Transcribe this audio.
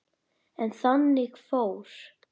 En þannig fór.